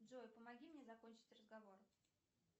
джой помоги мне закончить разговор